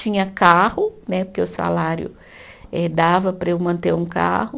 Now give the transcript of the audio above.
Tinha carro né, porque o salário eh dava para eu manter um carro.